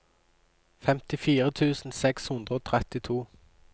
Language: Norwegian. femtifire tusen seks hundre og trettito